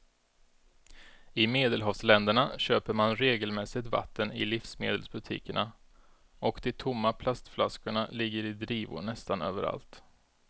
I medelhavsländerna köper man regelmässigt vatten i livsmedelsbutikerna och de tomma plastflaskorna ligger i drivor nästan överallt.